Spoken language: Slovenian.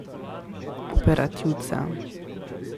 Operativca.